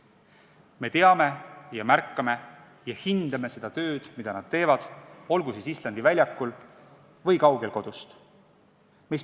Me teame, märkame ja hindame seda tööd, mida nad teevad, olgu siis Islandi väljakul või kodust kaugel.